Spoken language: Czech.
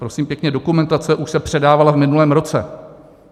Prosím pěkně, dokumentace už se předávala v minulém roce.